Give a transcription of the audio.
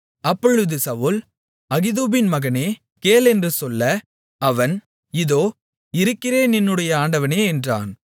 அப்பொழுது சவுல் அகிதூபின் மகனே கேள் என்று சொல்ல அவன் இதோ இருக்கிறேன் என்னுடைய ஆண்டவனே என்றான்